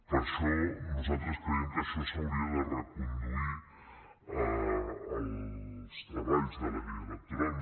per això nosaltres creiem que això s’hauria de reconduir en els treballs de la llei electoral